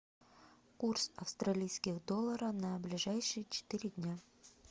курс австралийских доллара на ближайшие четыре дня